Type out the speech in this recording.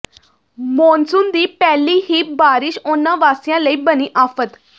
monsoon ਦੀ ਪਹਿਲੀ ਹੀ ਬਾਰਿਸ਼ ਊਨਾ ਵਾਸੀਆਂ ਲਈ ਬਣੀ ਆਫ਼ਤ